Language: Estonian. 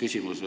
küsimus.